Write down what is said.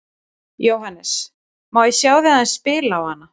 Jóhannes: Má ég sjá þig aðeins spila á hana?